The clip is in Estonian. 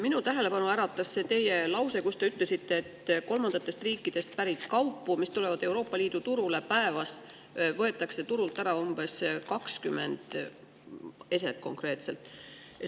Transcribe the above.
Minu tähelepanu äratas see teie lause, kus te ütlesite, et konkreetselt kolmandatest riikidest pärit kaupu, mis tulevad Euroopa Liidu turule, võetakse päevas turult ära umbes 20 eset.